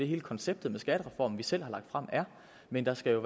hele konceptet med skattereformen vi selv har lagt frem er men der skal